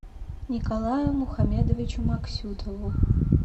николаю мухамедовичу максютову